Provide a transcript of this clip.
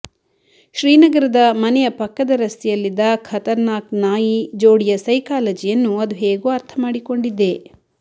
ಶ್ರೀನಗರದ ಮನೆಯ ಪಕ್ಕದ ರಸ್ತೆಯಲ್ಲಿದ್ದ ಖತರ್ನಾಕ್ ನಾಯಿ ಜೋಡಿಯ ಸೈಕಾಲಜಿಯನ್ನು ಅದು ಹೇಗೋ ಅರ್ಥ ಮಾಡಿಕೊಂಡಿದ್ದೆ